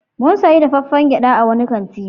Mu sayi dafaffiyar gyaɗa a wani kanti.